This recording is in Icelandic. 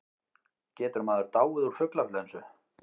Getur maður dáið úr fuglaflensu?